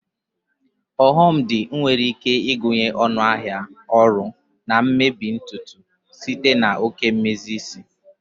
Oghom di nwere ike ịgụnye ọnụ ahịa ọrụ na mmebi nke ntutu site na oke mmezi isi.